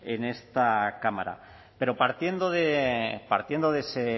en esta cámara pero partiendo de ese